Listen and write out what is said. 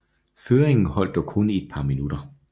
Føringen holdt dog kun i et par minutter